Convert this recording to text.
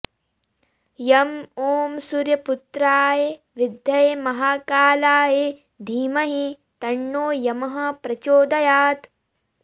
यम ॐ सूर्यपुत्राय विद्महे महाकालाय धीमहि तन्नो यमः प्रचोदयात्